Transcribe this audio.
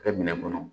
Kɛ minɛn kɔnɔ